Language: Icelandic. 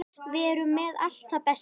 Við erum með allt það besta.